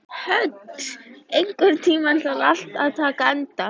Hödd, einhvern tímann þarf allt að taka enda.